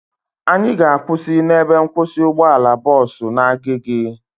Anyị ga-akwụsị n'ebe nkwụsị ụgbọala bọọsu na Agege